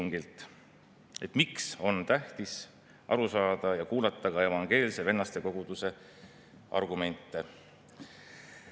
Üks esiletõste, mida mina siin teeksin, on see, et põhiseaduse rahvahääletuse toimumise ajal 1992. aastal mõeldi põhiseaduse §‑s 27 nimetatud abikaasade all ilmselgelt ja üheselt meest ja naist.